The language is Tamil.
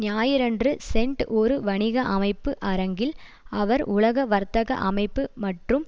ஞாயிறன்று சென்ட் ஒரு வணிக அமைப்பு அரங்கில் அவர் உலக வர்த்தக அமைப்பு மற்றும்